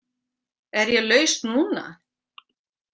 Er ég laus núna?